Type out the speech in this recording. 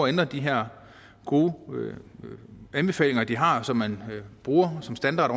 at ændre de her gode anbefalinger de har som man bruger som standard